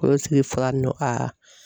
O sigi fara ni nɔ ka